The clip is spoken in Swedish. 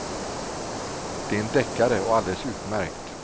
Det är en deckare och alldeles utmärkt.